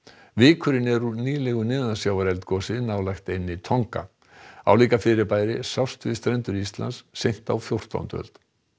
vikurinn er úr nýlegu nálægt eyjunni Tonga álíka fyrirbæri sást við strendur Íslands seint á fjórtándu öld